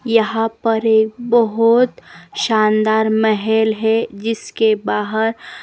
यहां पर एक बहोत शानदार महल है जिसके बाहर--